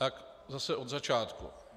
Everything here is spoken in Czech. Tak zase od začátku.